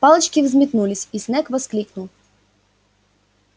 палочки взметнулись и снегг воскликнул